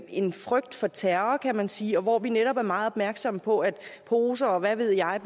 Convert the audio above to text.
en frygt for terror kan man sige og hvor vi netop er meget opmærksomme på at poser og hvad ved jeg